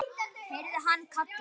heyrði hann kallað.